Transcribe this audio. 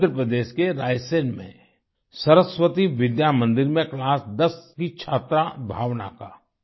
मध्य प्रदेश के रायसेन में सरस्वती विद्या मंदिर में क्लास 10th की छात्रा भावना का